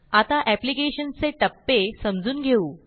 आता एप्लिकेशन चे टप्पे समजून घेऊ